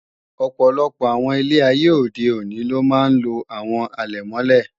Ọ̀pọ̀lọpọ̀ àwọn ilé ayé òde òní ló máa ń lo Àwo àlẹ̀mọ́lẹ̀